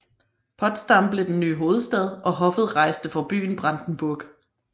Potsdam blev den nye hovedstad og hoffet rejste fra byen Brandenburg